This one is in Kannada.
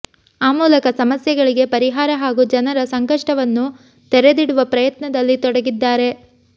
ಆ ಮೂಲಕ ಸಮಸ್ಯೆಗಳಿಗೆ ಪರಿಹಾರ ಹಾಗೂ ಜನರ ಸಂಕಷ್ಟವನ್ನು ತೆರೆದಿಡುವ ಪ್ರಯತ್ನದಲ್ಲಿ ತೊಡಗಿದ್ದಾರೆ